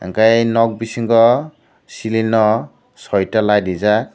enkkei nok bisingo selling o soita light reejak.